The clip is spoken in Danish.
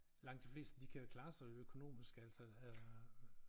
Langt de fleste de kan jo klare sig økonomisk altså øh